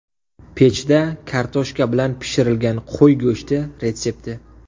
Pechda kartoshka bilan pishirilgan qo‘y go‘shti retsepti.